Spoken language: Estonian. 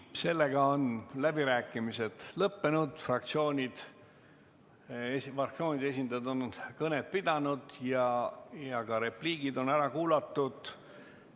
Sellega on läbirääkimised lõppenud, fraktsioonide esindajad on kõned pidanud ja repliigid on ära kuulatud.